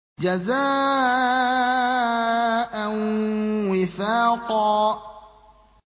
جَزَاءً وِفَاقًا